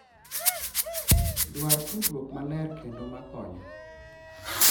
Dwar tudruok maler kendo ma konyo,